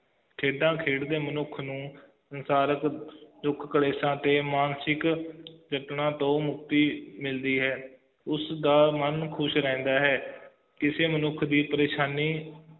ਖੇਡਾਂ ਖੇਡ ਦੇ ਮਨੁੱਖ ਨੂੰ ਸਾਰਾ ਕੁਛ ਦੁੱਖ ਕਲੇਸ਼ਾਂ ਤੇ ਮਾਂਨਸਿਕ ਜਤਨਾਂ ਤੋਂ ਮੁਕਤੀ ਮਿਲਦੀ ਹੈ ਉਸ ਦਾ ਮਨ ਖੁਸ਼ ਰਹਿੰਦਾ ਹੈ ਕਿਸੇ ਮਨੁੱਖ ਦੀ ਪ੍ਰੇਸ਼ਾਨੀ